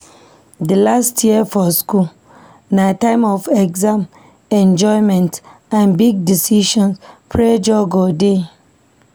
Di last year for high school na time of exam, enjoyment, and big decisions, pressure go dey